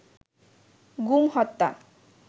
গুম হত্যা